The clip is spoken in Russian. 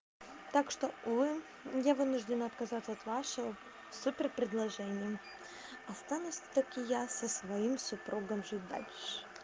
так что увы я вынужден отказаться от вашего супер-предложением останусь вс-таки я со своим супругом жить дальше